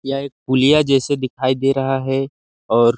यहाँ एक पुलिया जैसा दिखाई दे रहा है और --